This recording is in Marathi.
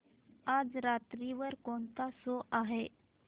आज रात्री वर कोणता शो आहे